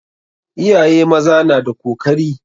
Iyaye maza na da kokari.